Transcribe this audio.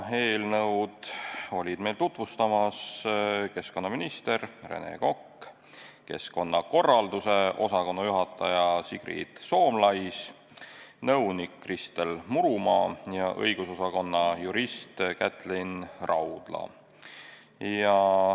Eelnõu olid meil tutuvustamas keskkonnaminister Rene Kokk, ministeeriumi keskkonnakorralduse osakonna juhataja Sigrid Soomlais, nõunik Kristel Murumaa ja õigusosakonna jurist Kätlin Raudla.